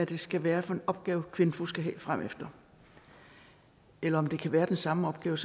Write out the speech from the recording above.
det skal være for en opgave kvinfo skal have fremefter eller om det kan være den samme opgave